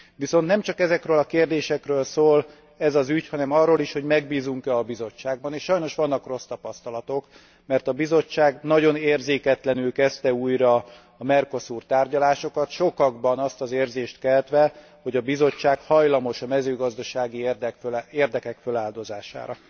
Viszont nem csak ezekről a kérdésekről szól ez az ügy, hanem arról is, hogy megbízunk e a Bizottságban, és sajnos vannak rossz tapasztalatok, mert a Bizottság nagyon érzéketlenül kezdte újra a Mercosur tárgyalásokat, sokakban azt az érzést keltve, hogy a Bizottság hajlamos a mezőgazdasági érdekek feláldozására.